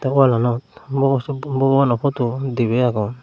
wallanot bogo sop bogobanaw poto dibey agon.